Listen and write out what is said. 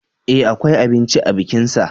E akwai abinci a bikinsa.